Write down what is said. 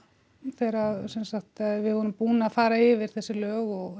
þegar við vorum búin að fara yfir þessi lög og